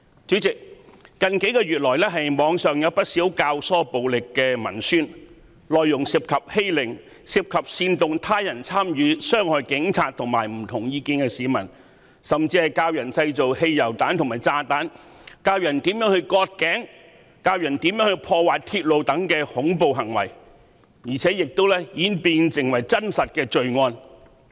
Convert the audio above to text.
主席，近幾個月以來，網上有不少教唆暴力的文宣，內容涉及欺凌、煽動他人參與傷害警察和持不同意見的市民，甚至是教導如何製造汽油彈和炸彈、割頸、破壞鐵路等恐怖行為，凡此種種更已演變成真實罪案。